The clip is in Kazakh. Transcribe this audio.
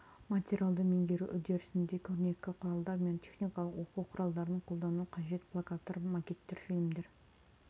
материалды меңгеру үрдісінде көрнекі құралдар мен техникалық оқу құралдарын қолдану қажет плакаттар макеттер фильмдер